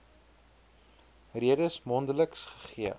redes mondeliks gegee